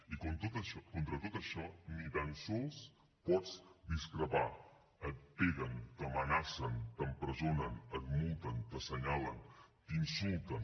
i contra tot això ni tan sols pots discrepar et peguen t’amenacen t’empresonen et multen t’assenyalen t’insulten